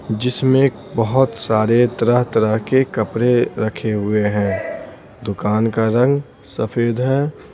जिसमें बहुत सारे तरह-तरह के कपड़े रखे हुए हैं दुकान का रंग सफ़ेद है।